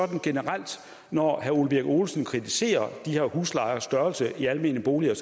når herre ole birk olesen kritiserer de her huslejers størrelse i de almene boliger